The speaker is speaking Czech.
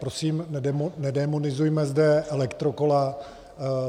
Prosím, nedémonizujme zde elektrokola.